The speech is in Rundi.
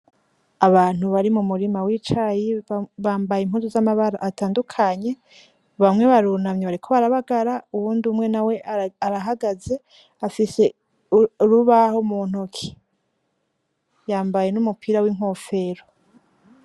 Abantu bari mu murima w'icayi bambaye impuzu z'amabara atandukanye. Bamwe barunamye bariko barabagara, uwundi umwe nawe arahagaze afise urubaho mu ntoke, yambaye n'umupira w'inkofero.